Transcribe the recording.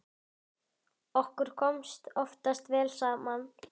Okkur kom oftast vel saman.